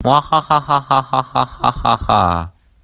ха-ха-ха-ха-ха-ха-ха-ха-ха